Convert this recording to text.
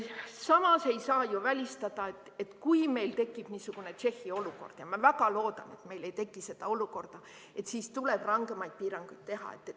Samas ei saa ju välistada, et kui meil tekib niisugune Tšehhi olukord – ma väga loodan, et meil ei teki seda olukorda –, et siis tuleb rangemaid piiranguid teha.